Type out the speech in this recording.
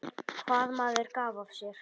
Hvað maður gaf af sér.